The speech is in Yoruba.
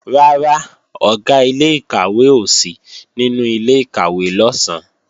Rárá, Ọ̀gá ilé-ìkàwé ò sí nínú ilé-ìkàwé lọ̀sán